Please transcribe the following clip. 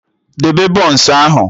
Debe bọns ahụ!